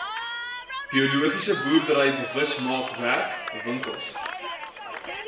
biologiese boerdery bewusmakingswerkswinkels